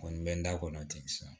Kɔni bɛ n da kɔnɔ ten sa